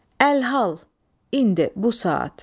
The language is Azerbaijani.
Əlhal, indi, bu saat.